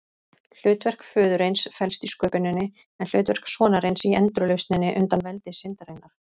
Hlutverk föðurins felst í sköpuninni, en hlutverk sonarins í endurlausninni undan veldi syndarinnar.